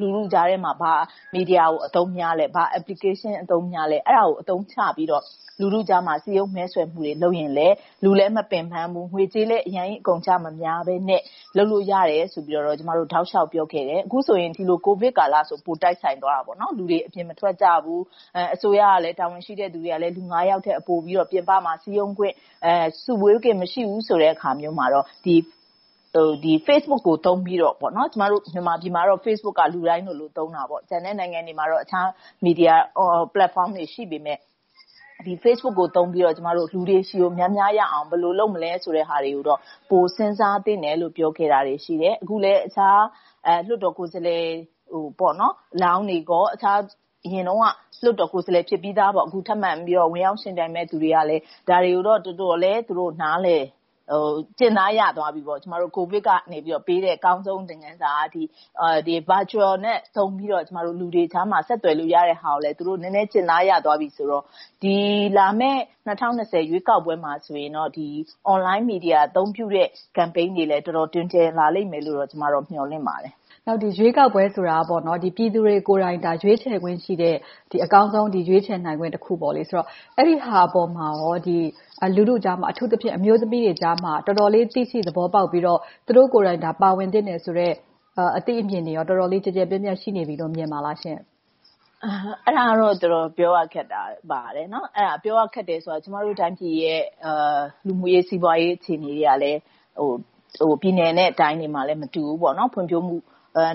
လူထုကြားထဲမှာ ဘယ်လို မီဒီယာကို အသုံးများသလဲ။ ဘယ် Application အသုံးများသလဲ။ အဲဒါတွေကို အသုံးချပြီးတော့ လူထုကြားထဲမှာ စည်းရုံးလှုံဆော်မှုတွေ လုပ်ရင်လဲ။ လူလည်းမပင်းပန်ဘူး။ ငွေကြေးလည်း အများကြီးကုန်ကျမများဘဲနဲ့ လုပ်လို့ရတယ်ဆိုပြီးတော့ ကျမတို့ တောက်လျှောက်ပြောခဲ့တယ်။ အခုဆိုရင် ကိုဗစ်ကာလဆိုရင် ပိုတိုက်ဆိုင်သွားတာပေါ့။ အခုဆိုရင် လူတွေအပြင်မထွက်ကြဘူး။ အစိုးရက တာဝန်ရှိတဲ့လူတွေကလဲ ယောက်ထက် ပိုပြီးတော့ စုရုံးခွင့်၊ စုဝေးခွင့် မရှိဘူးဆိုတဲ့အခါမျိုးမှာတော့ Facebook ကို အသုံးပြုပြီးတော့ - မြန်မာပြည်မှာက Facebook က လူတိုင်း သုံးကြတယ်။ ကျန်တဲ့နိုင်ငံတွေမှာတော့ အခြား Media Platforms တွေ ရှိကြပေမယ့်၊ မြန်မာပြည်မှာတော့ Facebook ကို သုံးပြီးတော့ လူတွေဆီ များများရောက်အောင် ဘယ်လိုလုပ်မလဲ ဆိုတာတွေကိုတော့ ပိုစဉ်းစားသင့်တယ်လို့ ပြောခဲ့တာတွေ ရှိတယ်။ အခုလဲ အခြားလွှတ်တော်ကိုယ်စားလှယ်တွေကိုလောင်းတွေနဲ့ အရင်တုန်းက လွှတ်တော်ကိုယ်စားလှယ် ဖြစ်ပြီသား၊ အခုထပ်မံပြီးတော့ ဝင်ရောက်ယှဉ်ပြိုင်မယ့်လူတွေက ဒါတွေကို သူတို့တော်တော်လေး နားလည်ကျင့်သားရသွားပြီ။ ကျမတို့ ကိုဗစ်ကပေးတဲ့ အကောင်းဆုံး သင်ခန်းစာက Virtual ကို အသုံးချပြီးတော့ လူတွေကြားမှာ ဆက်သွယ်လို့ရတဲ့ဟာကိုလဲ သူတို့နည်းနည်း ကျင့်သားရသွားပြီဆိုတော့ ဒီလာမယ့် ၂၀၂၀ ရွေးကောက်ပွဲမှာဆိုရင်တော့ Online Media အသုံးပြုတဲ့ Campaign တွေလဲ တော်တော်လေး တွင်ကျယ်လာလိမ့်မယ်လို့ ကျမ မျှော်လင့်ပါတယ်။ ရွေးကောက်ပွဲဆိုတာက ပြည်သူတွေကိုယ်တိုင် ရွေးချယ်ခွင့်ရှိတဲ့ အကောင်းဆုံး ရွေးချယ်နိုင်ခွင့်တခုဆိုတော့ အဲဒီအပေါ်မှာ လူထုကြားမှာ အထူးသဖြင့် အမျိုးသမီးတွေကြား တော်တော်လေး သိရှိသဘောပေါက်ပြီးတော့ သူတို့ကိုယ်တိုင် ပါဝင်သင့်တယ်ဆိုတဲ့ အသိအမြင်တွေ တော်တော်လေး ကျယ်ကျယ်ပြန့်ပြန့် ရှိနေပြီလို့ မြင်ပါသလားရှင့်။ အဲဒါကတော့ တော်တော်ပြောရခက်ပါတယ်။ ပြောရခက်တယ်ဆိုတာ ကျမတို့ တိုင်းပြည်ရဲ့ လူမှုရေး၊ စီးပွားရေး အခြေအနေကလဲ ပြည်နယ်နဲ့တိုင်းတွေမှာလဲ မတူဘူး။ ဖွံ့ဖြိုးမှု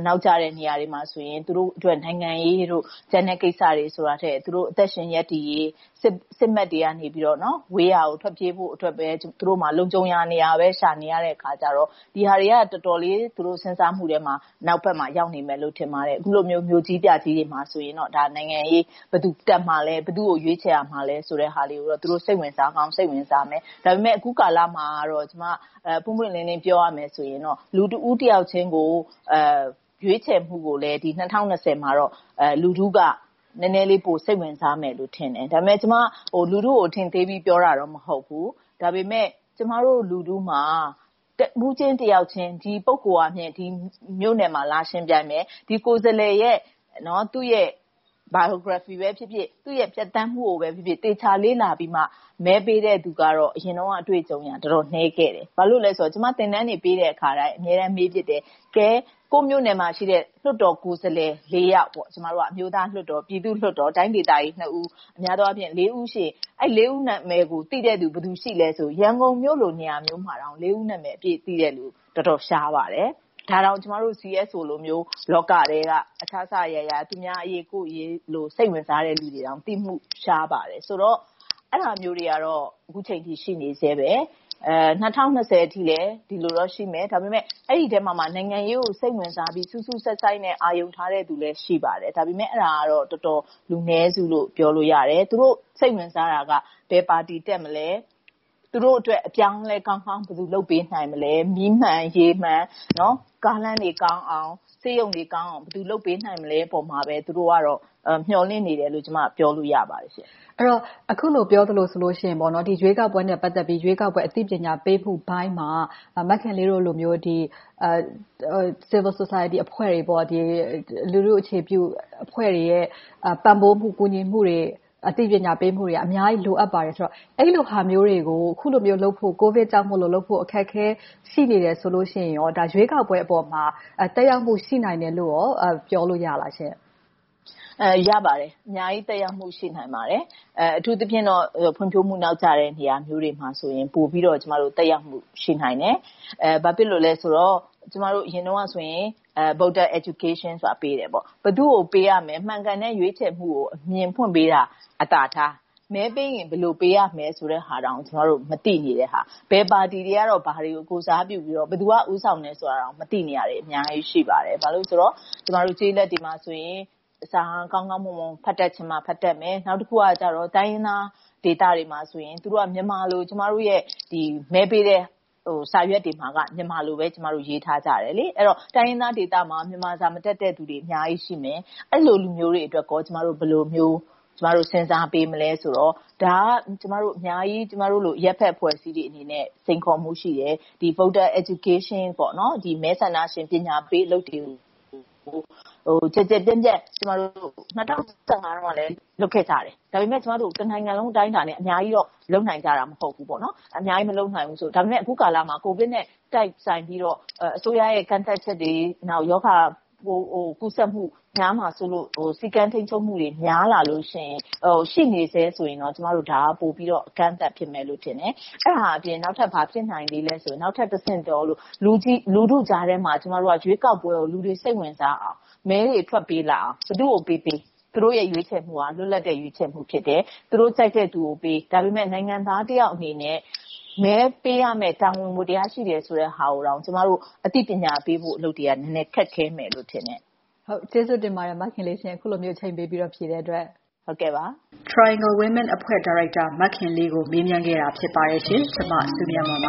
နောက်ကျတဲ့နေရာတွေမှာဆိုရင် သူတို့အတွက် နိုင်ငံရေးတို့၊ ကျန်တဲ့ကိစ္စတွေ ဆိုတာထက်၊ သူတို့အသက်ရှင် ရပ်တည်ရေး၊ စစ်မက်တွေကနေ ဝေးရာကို ထွက်ပြေးဖို့အတွက်ပဲ လုံခြုံရာနေရာပဲ ရှာနေရတဲ့အခါကြတော့ ဒီဟာတွေက တော်တော်လေး သူတို့စဉ်းစားမှုထဲမှာ နောက်ဘက်မှာ ရောက်နေမယ်လို့ ထင်ပါတယ်။ အခုလို မြို့ကြီးပြကြီးတွေမှာဆိုရင်တော့ နိုင်ငံရေးမှာ ဘယ်သူတက်မှာလဲ။ ဘယ်သူကို ရွေးချယ်မှာလဲ ဆိုတာမျိုးတွေကိုတော့ သူတို့ စိတ်ဝင်စားကောင်း၊ စိတ်ဝင်စားကြလိမ့်မယ်။ ဒါပေမဲ့ အခုကာလမှာတော့ ပွင့်ပွင့်လင်းလင်း ပြောရမယ်ဆိုရင်တော့ လူတဦးတယောက်ချင်းကို ရွေးချယ်မှုကိုလဲ ၂၀၂၀ မှာတော့ လူထုက နည်းနည်းလေး ပိုစိတ်ဝင်စားမယ်လို့ ထင်တယ်။ ဒါပေမဲ့ ကျမက လူထုကို အထင်သေးပြီး ပြောတာတော့ မဟုတ်ဘူး။ ဒါပေမဲ့ ကျမတို့လူထုမှာ တဦးချင်းတယောက်ချင်း ဒီပုဂ္ဂိုလ်က ဒီမြို့နယ်မှာ လာယှဉ်ပြိုင်မယ်။ ဒီကိုယ်စားလှယ်ရဲ့ သူ့ရဲ့ Biography ပဲဖြစ်ဖြစ်၊ သူ့ရဲ့ ဖြတ်သန်းမှုကိုပဲဖြစ်ဖြစ် သေချာလေ့လာပြီးမှ မဲပေးတဲ့ လူတွေကတော့ အရင်တုန်းက အတွေ့အကြုံက တော်တော်နည်းခဲ့တယ်။ ဘာလို့လဲဆိုတော့ ကျမ သင်တန်းတွေ ပေးတဲ့အခါမှာ အမြဲတန်းမေးဖြစ်တယ်။ တကယ်ပဲ ကိုယ့်မြို့နယ်မှာရှိတဲ့ လွှတ်တော်ကိုယ်စားလှယ် ယောက်။ အမျိုးသားလွှတ်တော်၊ ပြည်သူ့လွှတ်တော်၊ တိုင်းဒေသကြီး ဦး၊ များသောအားဖြင့် ဦိး ရှိတယ်။ အဲဒီ ဦး နာမည်ကို သိတဲ့လူ ဘယ်သူရှိသလဲဆိုရင် ရန်ကုန်မြို့လို့ နေရာမျိုးမှာတောင် လေးဦး နာမည်ကိုသိတဲ့လူ တော်တော်ရှားပါတယ်။ ဒါတောင် ကျမတို့ CSO လိုမျိုး လောကထဲက အစစအရာရာ သူများအရေး၊ ကိုယ့်အရေး စိတ်ဝင်စားတဲ့ လူတွေတောင် သိမှု ရှားပါတယ်။ ဆိုတော့ အဲဒါမျိုးတွေကတော့ အခုအချိန်အထိ ရှိနေဆဲပါ။ ၂၀၂၀ အထိလဲ ဒီလိုတော့ရှိမယ်။ ဒါပေမဲ့ အဲဒီအထဲမှာမှ နိုင်ငံရေးကို စိတ်ဝင်စားပြီး စူးစူးစိုက်စိုက်နဲ့ အာရုံထားသူတွေလဲ ရှိပါတယ်။ ဒါပေမဲ့ အဲဒါက လူနည်းစုလို့ ပြောလို့ရတယ်။ သူတို့စိတ်ဝင်စားတာက ဘယ်ပါတီ တက်မလဲ။ သူတို့အတွက် အပြောင်းအလဲကောင်း ဘယ်သူလုပ်ပေးနိုင်မလဲ။ မီးမှန်၊ ရေမှန်၊ ကားလမ်းတွေကောင်းအောင်၊ ဆေးရုံတွေကောင်းအောင် ဘယ်သူလုပ်ပေးနိုင်မလဲ ပေါ်မှာပဲ သူတို့က မျှော်လင့်နေတယ်လို့ ကျမ ပြောလို့ရပါတယ်။ အဲဒီတော့ အခုလို ပြောသလိုဆိုရင်တော့ ရွေးကောက်ပွဲနဲ့ ပတ်သက်ပြီး ရွေးကောက်ပွဲ အသိပညာပေးမှုပိုင်းမှာ မခင်လေးတို့လို Civil Society အဖွဲ့တွေ၊ လူထုအခြေပြုအဖွဲ့တွေရဲ့ ပံ့ပိုးမှု၊ ကူညီမှုတွေ၊ အသိပညာပေးမှုတွေက အများကြီးလိုအပ်ပါတယ်ဆိုတော့ အဲဒီလိုမျိုးတွေကို လုပ်ဖို့၊ ကိုဗစ်ကြောင့်မို့ လုပ်ဖို့ အခက်အခဲ ရှိနေတယ်ဆိုလို့ရှိရင်ကော ရွေးကောက်ပွဲပေါ်မှာ သက်ရောက်မှု ရှိနိုင်တယ်လို့ ပြောလို့ရပါသလားရှင့်။ ရပါတယ်။ အများကြီးသက်ရောက်မှု ရှိနိုင်ပါတယ်။ အထူးသဖြင့်တော့ ဖွံ့ဖြိုးမှုနောက်ကျတဲ့ နေရာမျိုးတွေမှာဆိုရင် ပိုပြီးတော့ သက်ရောက်မှု ရှိနိုင်တယ်။ ဘာဖြစ်လို့လဲဆိုတော့ ကျမတို့ အရင်တုန်းကဆိုရင် Voter Education ဆိုတာကို ပေးတယ်။ ဘယ်သူကို ပေးရမလဲ။ မှန်ကန်တဲ့ ရွေးချယ်မှုကို အမြင်ဖွင့်ပေးတာ အသာထား။ မဲပေးရင် ဘယ်လိုပေးရမလဲဆိုတဲ့ဟာတောင် မသိနေတဲ့ဟာ။ ဘယ်ပါတီတွေကတော့ ဘာတွေကို ကိုယ်စားပြုပြီးတော့ ဘယ်သူက ဦးဆောင်နေတယ်ဆိုတာကို မသိနေတာတွေ အများကြီးရှိပါတယ်။ ဘာဖြစ်လို့လဲဆိုတော့ ကျမတို့ ကျေးလက်ဒေသတွေမှာဆိုရင် စာကောင်းကောင်းမွန်မွန် ဖတ်တတ်ချင်မှ ဖတ်တတ်မယ်။ နောက်တခုကတော့ တိုင်းရင်းသားဒေသတွေမှာဆိုရင် သူတို့က မြန်မာလို ကျမတို့ရဲ့ မဲပေးတဲ့ စာရွက်တွေမှာက မြန်မာလိုပဲ ရေးထားကြတယ်။ အဲဒီတော့ တိုင်းရင်းသားဒေသမှာ မြန်မာစာ မတတ်တဲ့လူတွေ အများကြီးရှိတယ်။ အဲဒီလို လူမျိုးတွေအတွက်ကော ကျမတို့ ဘယ်လိုမျိုး စဉ်းစားပေးမလဲဆိုတော့ ဒါက ကျမတို့လို အရပ်ဘက်အဖွဲ့အစည်းတွေအနေနဲ့ စိန်ခေါ်မှု ရှိတယ်။ Voter Education မဲဆန္ဒရှင် ပညာပေးအလုပ်တွေကို ကျယ်ကျယ်ပြန့်ပြန့် ၂၀၁၅ တုန်းကလဲ လုပ်ခဲ့ကြတယ်။ ဒါပေမဲ့ ကျမတို့ တနိုင်ငံလုံး အတိုင်းအတာနဲ့ လုပ်နိုင်ကြတာ မဟုတ်ဘူးပေါ့။ အခုကာလမှာ ကိုဗစ်နဲ့ တိုက်ဆိုင်ပြီးတော့ အစိုးရရဲ့ ကန့်သတ်ချက်တွေ၊ ရောဂါကူးစက်မှု များမှာစိုးလို့ စည်းကမ်းထိန်းချုပ်မှုတွေ များလာလို့ရှိရင်၊ ရှိနေဆဲဆိုရင် ဒါက အကန့်အသတ် ဖြစ်မယ်လို့ထင်တယ်။ အဲဒါအပြင် နောက်ထပ် ဘာဖြစ်နိုင်လဲဆိုရင် လူထုကြားထဲမှာ ကျမတို့က ရွေးကောက်ပွဲကို လူတွေ စိတ်ဝင်စားအောင်၊ မဲတွေထွက်ပေးလာအောင် ဘယ်သူကိုပေးပေး၊ သူတို့ရဲ့ ရွေးချယ်မှုက လွတ်လပ်တဲ့ ရွေးချယ်မှုဖြစ်တယ်။ သူတို့ကြိုက်တဲ့လူကိုပေး။ ဒါပေမဲ့ နိုင်ငံသားတယောက်အနေနဲ့ မဲပေးရမယ့် တာဝန်ဝတ္ထရား ရှိတယ်ဆိုတဲ့ဟာကိုတောင် ကျမတို့ အသိပညာပေး လုပ်ရမယ့်အလုပ်တွေက နည်းနည်းခက်ခဲမယ်လို့ ထင်တယ်။ ကျေးဇူးတင်ပါတယ် မခင်လေးရှင့်။ အခုလိုမျိုး အချိန်ပေးပြီးတော့ ဖြေကြားတဲ့အတွက်။ Triangle Women အမျိုးသမီးအဖွဲ့ ဒါရိုက်တာ မခင်လေးကို မေးမြန်းခဲ့တာ ဖြစ်ပါတယ်။ ကျမ စုမြတ်မွန်ပ